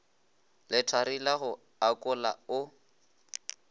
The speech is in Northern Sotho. lethari la go akola o